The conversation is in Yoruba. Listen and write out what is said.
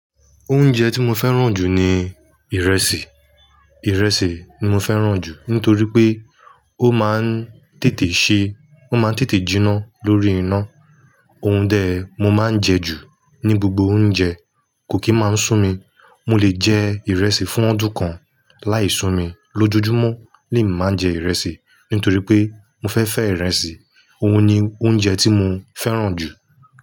Oúnjẹ tí mo fẹ́ràn jù ni ìrẹsì. Ìrẹsì ni mo fẹ́ràn jù nítorí pé ó máa ń tètè ṣe, ó máa ń tètè jiná lórí iná. Ohun dẹ mo máa ń jẹ jù ní gbogbo oúnjẹ, kò kí máa ń sú mi. Mo lè jẹ ìrẹsì fún ọdún kan láì sú mi. Lójojúmọ́ ni ì máa ń jẹ ìrẹsì nítorí pé mo fẹ́ fẹ́ ìrẹsì. Ohun ni oúnjẹ tí mo fẹ́ràn jù.